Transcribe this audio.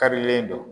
Karilen don